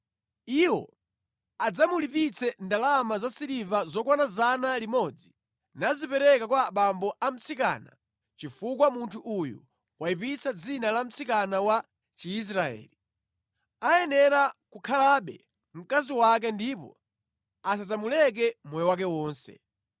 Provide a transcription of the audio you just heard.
Iwo adzamulipitse ndalama zasiliva zokwana 100 nazipereka kwa abambo a mtsikana, chifukwa munthu uyu wayipitsa dzina la mtsikana wa Chiisraeli. Ayenera kukhalabe mkazi wake ndipo asadzamuleke moyo wake wonse.